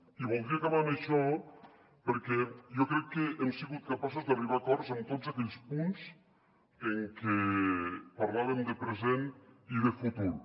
i voldria acabar amb això perquè jo crec que hem sigut capaços d’arribar a acords en tots aquells punts en què parlàvem de present i de futur